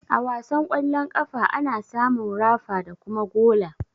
A wasan ƙwallon ƙafa, ana samun rafa da kuma gola.